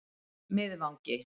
Miðvangi